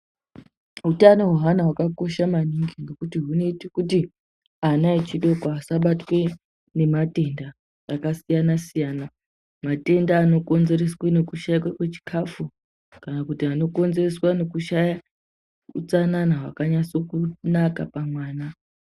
Utano hweana hwakakosha maningi ngekuti hunoita kuti ana echidoko qsabatwa ngematenda akasiyana siyana .Matenda anokonzereswa ngekushaikwa kwechikafu kana kuronzerwa nekushaiwa utsanana hwakanase kunaka pamwana